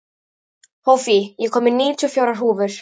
Hófí, ég kom með níutíu og fjórar húfur!